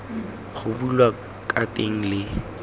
go bulwa ka teng le